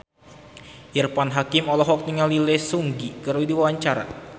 Irfan Hakim olohok ningali Lee Seung Gi keur diwawancara